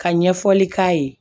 Ka ɲɛfɔli k'a ye